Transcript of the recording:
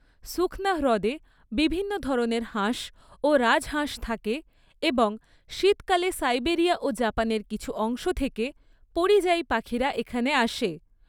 সুখনা হ্রদে বিভিন্ন ধরনের হাঁস ও রাজহাঁস থাকে এবং শীতকালে সাইবেরিয়া ও জাপানের কিছু অংশ থেকে পরিযায়ী পাখিরা এখানে আসে।